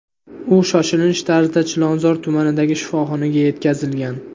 U shoshilinch tarzda Chilonzor tumanidagi shifoxonaga yetkazilgan.